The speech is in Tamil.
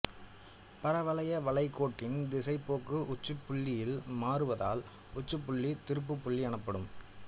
பரவளைய வளைகோட்டின் திசைப்போக்கு உச்சிப்புள்ளியில் மாறுவதால் உச்சிப்புள்ளி திருப்பு புள்ளி எனப்படும்